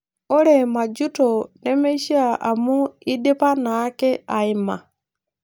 Ore majuto nemeishia amu idipa naake aaima